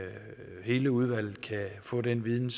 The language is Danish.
hele udvalget kan få den viden